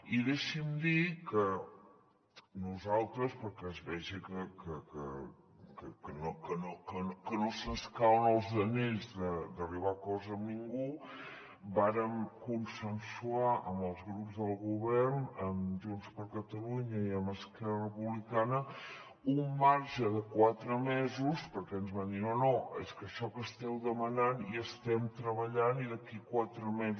i deixi’m dir que nosaltres perquè es vegi que no se’ns cauen els anells d’arribar a acords amb ningú vàrem consensuar amb els grups del govern amb junts per catalunya i amb esquerra republicana un marge de quatre mesos perquè ens van dir no és que això que esteu demanant hi estem treballant i d’aquí a quatre mesos